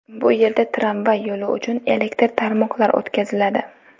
Bu yerda tramvay yo‘li uchun elektr tarmoqlar o‘tkaziladi.